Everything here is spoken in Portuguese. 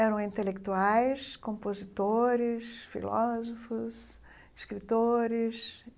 Eram intelectuais, compositores, filósofos, escritores.